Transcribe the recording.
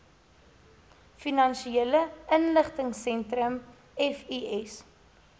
finansiële intelligensiesentrum fis